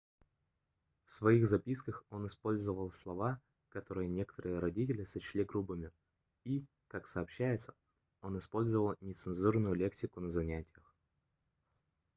в своих записках он использовал слова которые некоторые родители сочли грубыми и как сообщается он использовал нецензурную лексику на занятиях